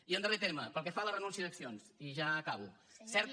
i en darrer terme pel que fa a la renúncia d’accions i ja acabo certa